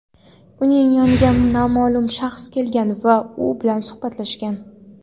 uning yoniga noma’lum shaxs kelgan va u bilan suhbatlashgan.